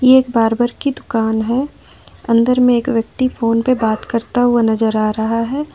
ये बार्बर की दुकान है अंदर में एक व्यक्ति फोन पे बात करता हुआ नजर आ रहा है।